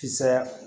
Kisaaya